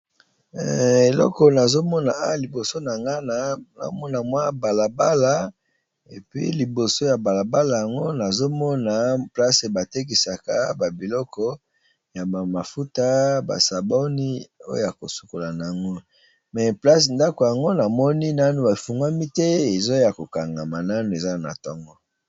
Eleko nazo mona a liboso na nga na omona mwa balabala epui liboso ya balabala yango nazo mona place ba tekisaka ba biloko ya ba mafuta ba saboni oya ko sukola na ngo me place ndako yango na moni nanu efungwami te eza ya ko kangama nanu eza na ntongo.